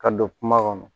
Ka don kuma kɔnɔ